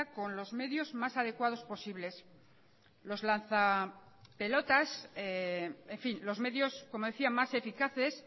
con los medios más adecuados posibles los lanza pelotas en fin los medios como decía más eficaces